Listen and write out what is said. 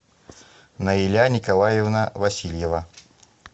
наиля николаевна васильева